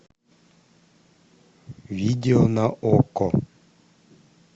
видео на окко